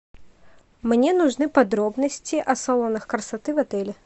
мне нужны подробности о салонах красоты в отеле